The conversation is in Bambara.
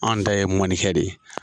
Anw ta ye mɔnikɛ de ye.